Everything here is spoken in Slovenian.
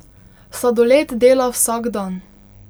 Sladoled dela vsak dan.